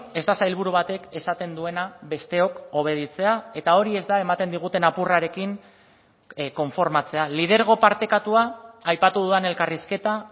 ez da sailburu batek esaten duena besteok obeditzea eta hori ez da ematen diguten apurrarekin konformatzea lidergo partekatua aipatu dudan elkarrizketa